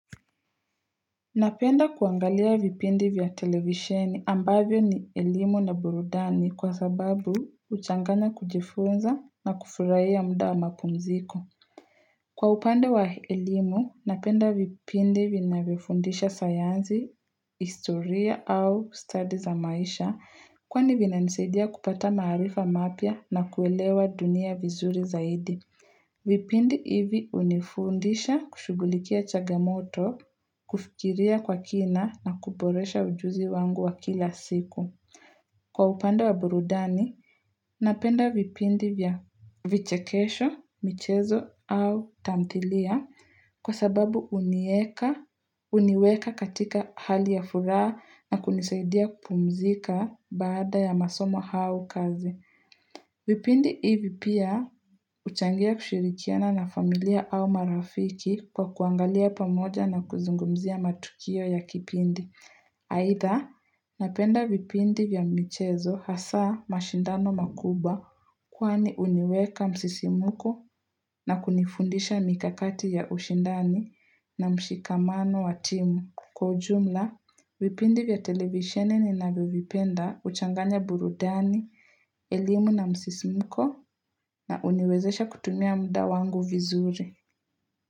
Napenda kuangalia vipindi vya televisheni ambavyo ni elimu na burudani kwa sababu uchangana kujifunza na kufurahia ya mda wa mapumziko. Kwa upande wa ilimu, napenda vipindi vina vifundisha sayanzi, historia au study za maisha kwani vina nisadia kupata marifa mapya na kuelewa dunia vizuri zaidi. Vipindi hivi unifundisha kushugulikia chagamoto, kufikiria kwa kina na kuboresha ujuzi wangu wa kila siku. Kwa upando wa burudani, napenda vipindi vya vichekesho, michezo au tamthilia kwa sababu unieka, uniweka katika hali ya furaha na kunisaidia kupumzika baada ya masomo hau kazi. Vipindi hivi pia uchangia kushirikiana na familia au marafiki kwa kuangalia pamoja na kuzungumzia matukio ya kipindi. Aidha, napenda vipindi vya michezo hasa mashindano makuba kwaani uniweka msisimuko na kunifundisha mikakati ya ushindani na mshikamano wa timu. Kwa ujumla, vipindi vya televisione ni nabivipenda uchanganya burudani, elimu na msisimko na uniwezesha kutumia mda wangu vizuri.